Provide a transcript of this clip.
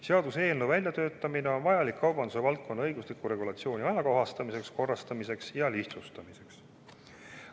Seaduseelnõu väljatöötamine on vajalik kaubanduse valdkonna õigusliku regulatsiooni ajakohastamiseks, korrastamiseks ja lihtsustamiseks.